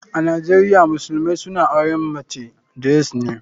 A nijeria musulumai suna auren mace days ne.